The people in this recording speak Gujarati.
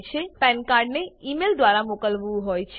પાન કાર્ડ પેન કાર્ડને ઈમેઈલ દ્વારા મોકલવું હોય છે